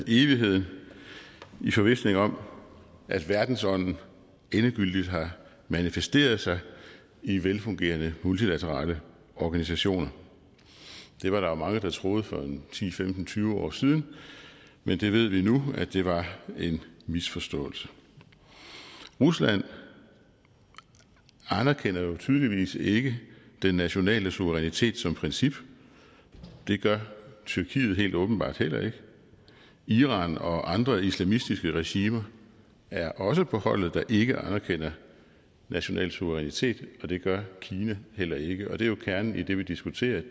evigheden i forvisning om at verdensånden endegyldigt har manifesteret sig i velfungerende multilaterale organisationer det var der jo mange der troede for ti til tyve år siden men vi ved nu at det var en misforståelse rusland anerkender jo tydeligvis ikke den nationale suverænitet som princip det gør tyrkiet helt åbenbart heller ikke iran og andre islamistiske regimer er også på holdet der ikke anerkender national suverænitet og det gør kina heller ikke det er jo kernen i det vi diskuterer